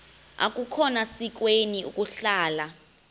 akukhona sikweni ukuhlala